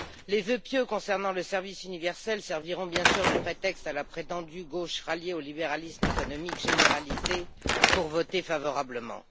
Les vœux pieux concernant le service universel serviront, bien sûr, de prétexte à la prétendue gauche ralliée au libéralisme économique généralisé pour voter favorablement.